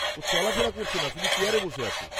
ও চলাফেরা করছে না, শুধু চেয়ারে বসে আছে।